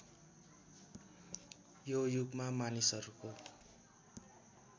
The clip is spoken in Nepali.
यो युगमा मानिसहरूको